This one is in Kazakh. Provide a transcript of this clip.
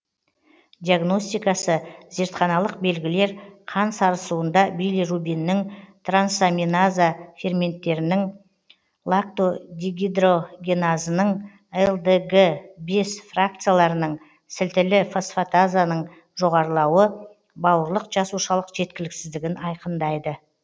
диагностикасы зертханалық белгілер қан сарысуында билирубиннің трансаминаза ферменттерінің лактотдегидрогеназының лдг бес фракцияларының сілтілі фосфатазаның жоғарылауы бауырлық жасушалық жеткіліксіздігін айқындайды